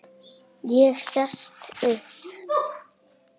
Ég sest upp.